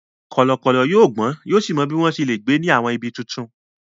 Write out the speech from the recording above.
Kọ̀lọ̀kọ̀lọ̀ yóò gbọ́n yóò sì mọ bí wọ́n ṣe lè gbé ní àwọn ibi tuntun.